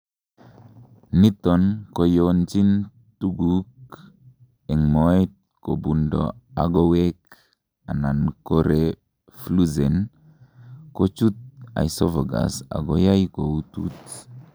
niton koyonchin tuguk en moet kobundo agowek, anan korefluxen, kochut oesophagus akoyai koutut